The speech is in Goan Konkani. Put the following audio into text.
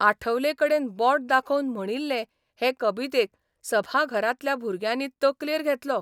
आठवलेकडेन बोट दाखोवन म्हणिल्ले हें कबितेक सभाघरांतल्या भुरग्यांनी तकलेर घेतलो.